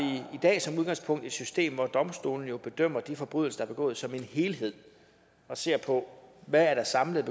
i dag som udgangspunkt et system hvor domstolene jo bedømmer de forbrydelser der er begået som en helhed og ser på hvad der samlet